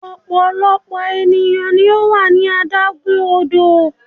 ọpọlọpọ eniyan ni o wa ní adágún odò